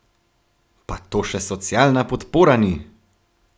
Pa to še socialna podpora ni!